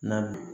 Na bi